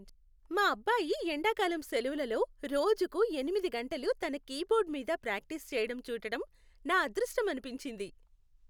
మా అబ్బాయి ఎండకాలం సెలవులలో రోజుకు ఎనిమిది గంటలు తన కీబోర్డ్ మీద ప్రాక్టీస్ చేయడం చూడటం నా అదృష్టం అనిపించింది.